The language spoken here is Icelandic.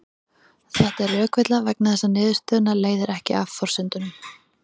Þetta er rökvilla vegna þess að niðurstöðuna leiðir ekki af forsendunum.